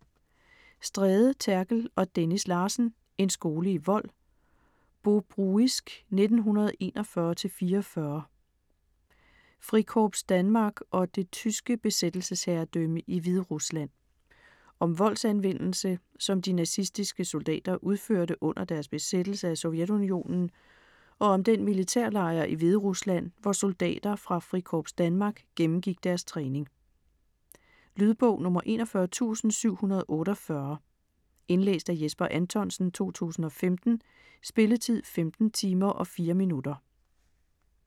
Stræde, Therkel og Dennis Larsen: En skole i vold. Bobruisk 1941-44 Frikorps Danmark og det tyske besættelsesherredømme i Hviderusland. Om voldsanvendelse, som de nazistiske soldater udførte under deres besættelse af Sovjetunionen og om den militærlejr i Hviderusland, hvor soldater fra Frikorps Danmark gennemgik deres træning. Lydbog 41748 Indlæst af Jesper Anthonsen, 2015. Spilletid: 15 timer, 4 minutter.